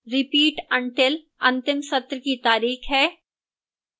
repeat until अंतिम सत्र की तारीख है